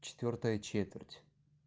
четвёртая четверть